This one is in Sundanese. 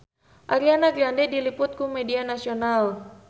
Ariana Grande diliput ku media nasional